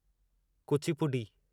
Kuchipudi